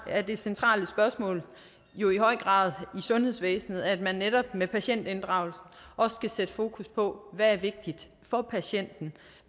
er det centrale spørgsmål jo i høj grad i sundhedsvæsenet at man netop med patientinddragelsen også skal sætte fokus på hvad der er vigtigt for patienten